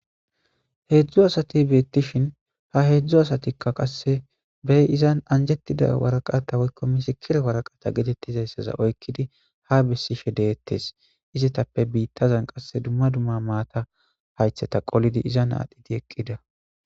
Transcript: heedzdzu asati beettishin ha heedzdzu asatikka qasse bey izan anjettida waraqata woykko misikire waraqata getettizayssaza oykkidi ha bessishe deettes izetappe biittazan qasse dumma dumma maata haytheta qolidi izan aadhidi eqqida